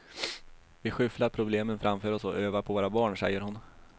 Vi skyfflar problemen framför oss och över på våra barn, säger hon.